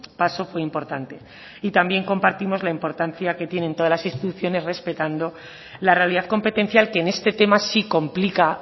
paso fue importante y también compartimos la importancia que tienen todas las instituciones respetando la realidad competencial que en este tema sí complica